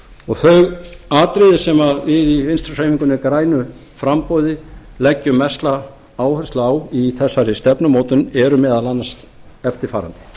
málamiðlun þau atriði sem við í vinstri hreyfingunni grænu framboði leggjum mesta áherslu á í þessari stefnumótun eru meðal annars eftirfarandi eru meðal annars eftirfarandi